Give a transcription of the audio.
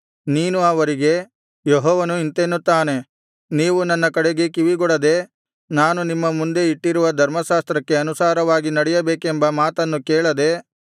ನೀನು ಅವರಿಗೆ ಯೆಹೋವನು ಇಂತೆನ್ನುತ್ತಾನೆ ನೀವು ನನ್ನ ಕಡೆಗೆ ಕಿವಿಗೊಡದೆ ನಾನು ನಿಮ್ಮ ಮುಂದೆ ಇಟ್ಟಿರುವ ಧರ್ಮಶಾಸ್ತ್ರಕ್ಕೆ ಅನುಸಾರವಾಗಿ ನಡೆಯಬೇಕೆಂಬ ಮಾತನ್ನು ಕೇಳದೆ